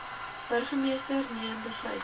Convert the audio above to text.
burgermeester neem besluite